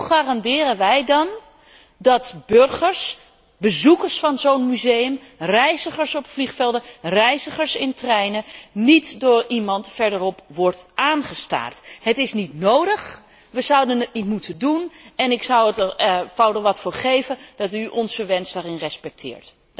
Hoe garanderen wij dan dat burgers, bezoekers van zo'n museum, reizigers op vliegvelden, reizigers in treinen niet door iemand verderop worden aangestaard? Het is niet nodig, we zouden het niet moeten doen, en ik zou er wat voor geven dat u onze wens daarin respecteert.